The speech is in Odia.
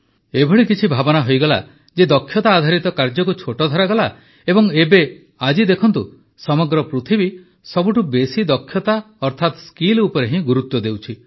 ଏପରି କିଛି ଭାବନା ହୋଇଗଲା ଯେ ଦକ୍ଷତା ଆଧାରିତ କାର୍ଯ୍ୟକୁ ଛୋଟ ଧରାଗଲା ଏବଂ ଏବେ ଆଜି ଦେଖନ୍ତୁ ସମଗ୍ର ପୃଥିବୀ ସବୁଠୁ ବେଶି ଦକ୍ଷତା ଅର୍ଥାତ ସ୍କିଲ୍ ଉପରେ ହିଁ ଗୁରୁତ୍ୱ ଦେଉଛି